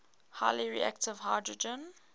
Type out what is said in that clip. highly reactive hydrogen